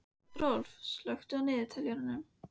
Rolf, slökktu á niðurteljaranum.